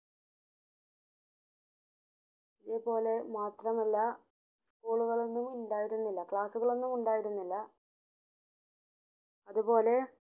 അത് പോലെ മാത്രമല്ല school ഒന്നുംമിണ്ടായിരുന്നില്ല class കളൊന്നുമിണ്ടായിരുന്നില്ല അത് പോലെ